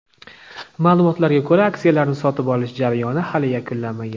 Ma’lumotlarga ko‘ra, aksiyalarni sotib olish jarayoni hali yakunlanmagan.